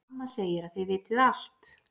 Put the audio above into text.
Amma segir að þið vitið allt.